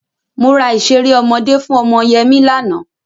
Mo ra ìṣeré ọmọdé fún ọmọ Yẹmí lánàá.